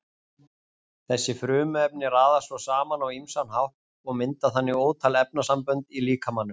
Þessi frumefni raðast svo saman á ýmsan hátt og mynda þannig ótal efnasambönd í líkamanum.